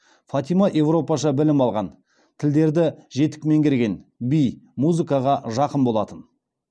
фатима европаша білім алған тілдерді жетік меңгерген би музыкаға жақын болатын